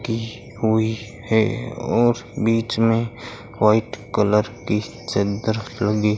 की हुई है और बीच में वाइट कलर की चादर लगी --